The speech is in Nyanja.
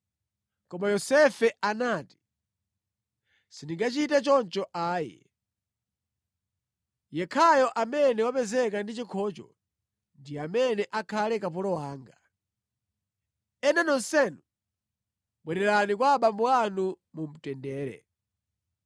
Koma Yosefe anati, “Sindingachite choncho ayi! Yekhayo amene wapezeka ndi chikhocho ndi amene akhale kapolo wanga. Ena nonsenu, bwererani kwa abambo anu mu mtendere.”